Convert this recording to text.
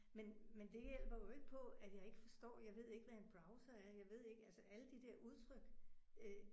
Men men det hjælper jo ikke på at jeg ikke forstår jeg ved ikke hvad en browser er jeg ved ikke altså alle de der udtryk øh